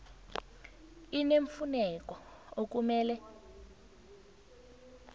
i neemfuneko okumele